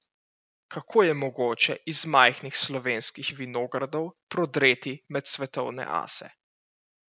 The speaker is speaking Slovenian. Kako je mogoče iz majhnih slovenskih vinogradov prodreti med svetovne ase?